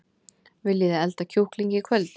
Viljiði elda kjúkling í kvöld?